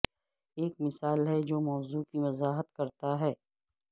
ایک مثال ہے جو موضوع کی وضاحت کرتا ہے